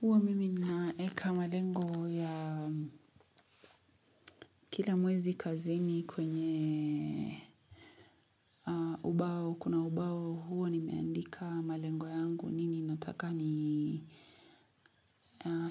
Huwa mimi naweka malengo ya kila mwezi kazini kwenye ubao kuna ubao huwa nimeandika malengo yangu nini nataka ni